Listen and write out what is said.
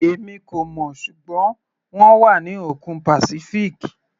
Èmi kò mọ̀, ṣùgbọ́n wọ́n wà ní òkun Pacific.